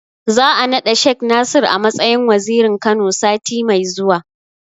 Za'a naɗa Shek Nasir a matsayin Wazirin Kano, sati mai zuwa.